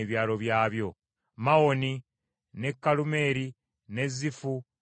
Mawoni, n’e Kalumeeri, n’e Zifu, n’e Yuta,